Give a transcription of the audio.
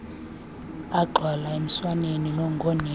agxwala emswaneni ngonina